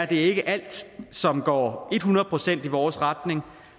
det ikke er alt som går ethundrede procent i vores retning